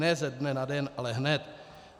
Ne ze dne na den, ale hned.